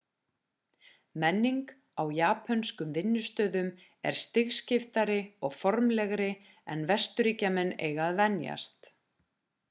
menning á japönskum vinnustöðum er stigskiptari og formlegri en vesturríkjamenn eiga að venjast